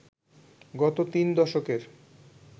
গত তিন দশকের